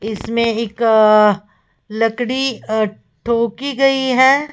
इसमें एक लकड़ी ठोकी गई है।